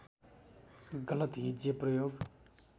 गलत हिज्जे प्रयोग